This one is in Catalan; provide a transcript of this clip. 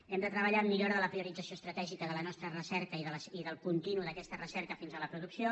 hem de treballar en millora de la priorització estratègica de la nostra recerca i del contínuum d’aquesta recerca fins a la producció